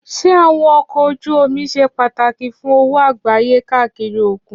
Ṣé àwọn ọkọ̀ ojú omi ṣe pàtàkì fún òwò àgbáyé káàkiri òkun?